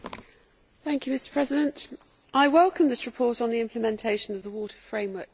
Mr President, I welcome this report on the implementation of the Water Framework Directive.